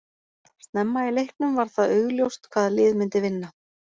Snemma í leiknum var það augljóst hvaða lið myndi vinna.